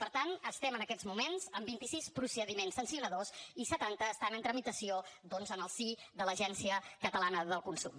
per tant estem en aquests moments amb vint sis procediments sancionadors i setanta estan en tramitació doncs en el si de l’agència catalana del consum